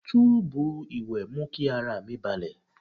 Tọ́ọ̀bù ìwẹ̀ mú kí ara mi balẹ̀.